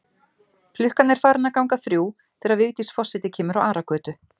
Klukkan er farin að ganga þrjú þegar Vigdís forseti kemur á Aragötu.